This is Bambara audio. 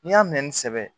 N'i y'a mɛn ni sɛbɛn ye